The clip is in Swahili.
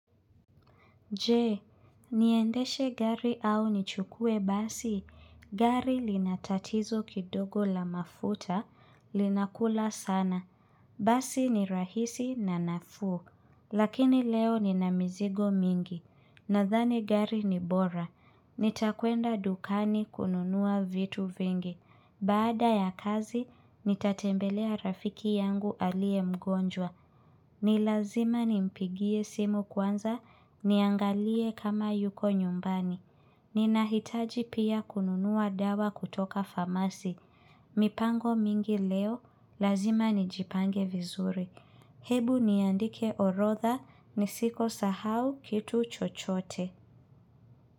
Je niendeshe gari au nichukue basi gari lina tatizo kidogo la mafuta linakula sana basi ni rahisi na nafuu lakini leo nina mizigo mingi nadhani gari ni bora nitakwenda dukani kununua vitu vingi baada ya kazi nitatembelea rafiki yangu aliye mgonjwa ni lazima nimpigie simu kwanza niangalie kama yuko nyumbani ninahitaji pia kununua dawa kutoka famasi mipango mingi leo lazima nijipange vizuri hebu niandike orodha nisikosahau kitu chochote.